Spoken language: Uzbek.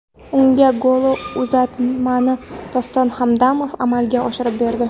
Unga golli uzatmani Doston Hamdamov amalga oshirib berdi.